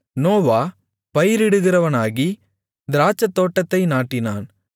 நோவா பயிரிடுகிறவனாகி திராட்சைத்தோட்டத்தை நாட்டினான்